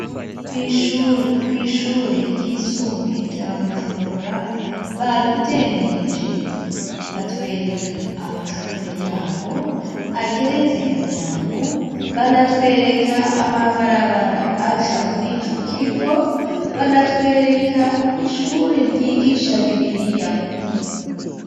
kw'ishure ryisumbuye rya Bujumbura, badutembereje batwereka amashure y'aho ageretse gatanu, banatwereka amabarabara aca muri ico kigo, banatwereka ishure ryigisha bibiriya.